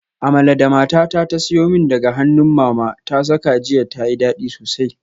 Amala da matata ta siyo min daga hannun mama ta saka jiya tayi dadi sosai